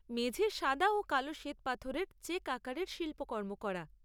মেঝেয় সাদা ও কালো শ্বেতপাথরের চেক আকারের শিল্পকর্ম করা।